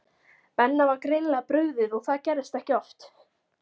Benna var greinilega brugðið og það gerðist ekki oft.